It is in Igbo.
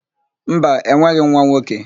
Mba, enweghị m nwa nwoke.